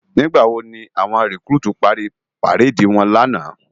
Nigbá wó ni áwòn rikúrútú pári párédi wòn làná?